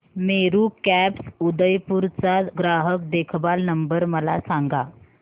Meru cabs Udaipur चा ग्राहक देखभाल नंबर मला सांगा